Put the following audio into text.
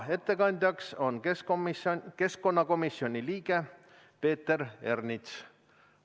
Ettekandja on keskkonnakomisjoni liige Peeter Ernits.